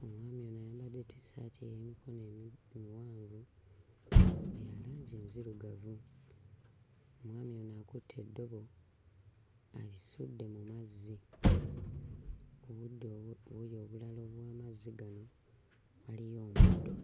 Omwami ono ayambadde ttissaati ey'emikono emi miwanvu ya langi nzirugavu; omwami ono akutte eddobo alisudde mu mazzi ku buddo obu buli obulala obw'amazzi gano waliyo omuddo.